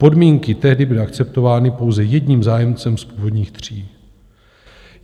Podmínky tehdy byly akceptovány pouze jedním zájemcem z původních tří.